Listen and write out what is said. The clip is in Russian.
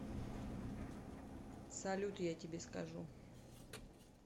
салют я тебе скажу